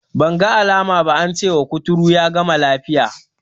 Banga alama ba, ance wa kuturu ya gama lafiya.